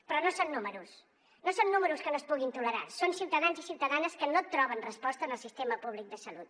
però no són números no són números que no es puguin tolerar són ciutadans i ciutadanes que no troben resposta en el sistema públic de salut